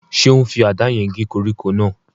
Ṣé ó n fi àdá yẹn gé koríko náà?